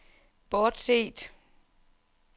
bortset